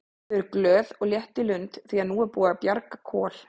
Þau eru glöð og létt í lund því að nú er búið að bjarga Kol.